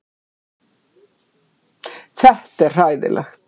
Þetta er hræðilegt